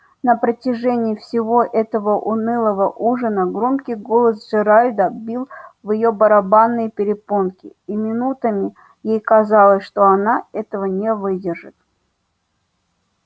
на протяжении всего этого унылого ужина громкий голос джералда бил в её барабанные перепонки и минутами ей казалось что она этого не выдержит